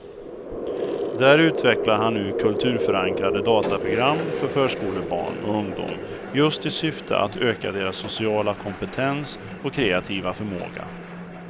Där utvecklar han nu kulturförankrade dataprogram för förskolebarn och ungdom just i syfte att öka deras sociala kompetens och kreativa förmåga.